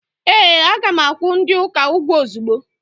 Ee, a ga-akwụ ndi uka ụgwọ ozugbo.